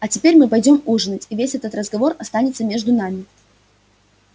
а теперь мы пойдём ужинать и весь этот разговор останется между нами